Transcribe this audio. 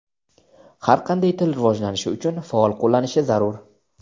Har qanday til rivojlanishi uchun faol qo‘llanilishi zarur.